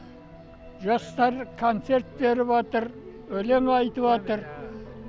жастар концерт беріп атыр өлең айтыбатыр